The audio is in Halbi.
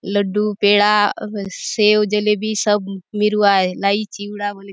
लड्डू पेड़ा सेव जलेबी सब मिरूआय लाई चिवड़ा बले--